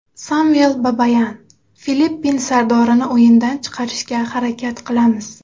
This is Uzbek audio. Samvel Babayan: Filippin sardorini o‘yindan chiqarishga harakat qilamiz.